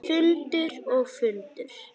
Fundur og fundur.